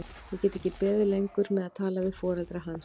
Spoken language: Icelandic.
Ég get ekki beðið lengur með að tala við foreldra hans.